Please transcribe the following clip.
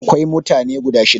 Akwai mutane guda shida.